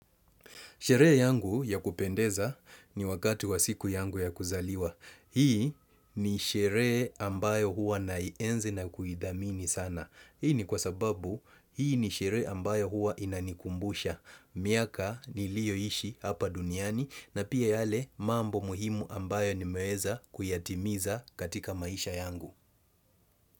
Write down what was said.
Sherehe yangu ya kupendeza ni wakati wa siku yangu ya kuzaliwa. Hii ni sherehe ambayo huwa naienzi na kuithamini sana. Hii ni kwasababu hii ni sherehe ambayo huwa inanikumbusha. Miaka niliyoishi hapa duniani na pia yale mambo muhimu ambayo nimeweza kuyatimiza katika maisha yangu.